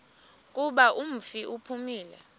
kuba umfi uphumile